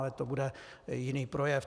Ale to bude jiný projev.